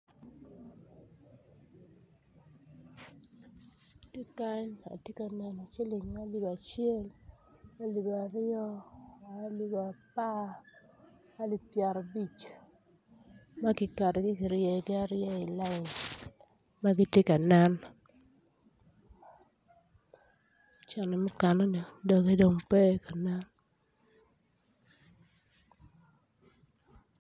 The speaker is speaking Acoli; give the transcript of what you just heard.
Ki kany atye ka neno ciling alip acel alip aryo alip apar ailp pyera abic ma giketogi ki ryeyogi i lain ma giti ka nen cente mukane-ni doge pe kanen